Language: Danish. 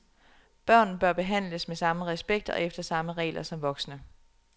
Børn bør behandles med samme respekt og efter samme regler som voksne.